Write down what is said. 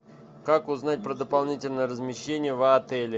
как узнать про дополнительное размещение в отеле